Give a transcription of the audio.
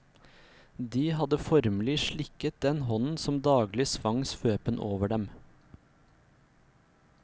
De hadde formelig slikket den hånden som daglig svang svøpen over dem.